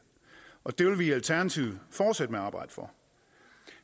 og det vil vi i alternativet fortsætte med at arbejde for